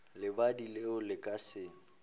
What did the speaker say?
lebadi leo le ka se